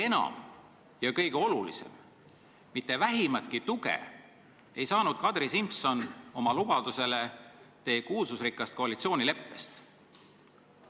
Aga kõige olulisem: mitte vähimatki tuge oma lubadusele Kadri Simson teie kuulsusrikkast koalitsioonileppest ei saanud.